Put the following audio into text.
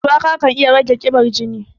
Shuwaka kan iya rage ƙiban jini.